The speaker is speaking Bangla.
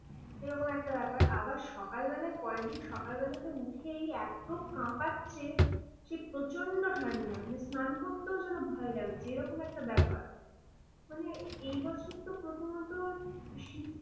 এরকম একটা ব্যাপার। আবার সকালবেলায় পরের দিন সকালবেলাতে উঠেই এত কাঁপাচ্ছে সে প্রচন্ড ঠান্ডা, স্নান করতেও যেন ভয় লাগছে। এরকম একটা ব্যাপার। মানে এ বছর তো প্রচন্ড শীত